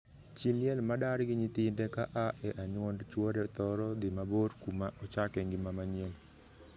Chii liel ma dar gi nyithinde ka aa e anyuond chwore thoro dhii mabor kuma ochake ngima manyien.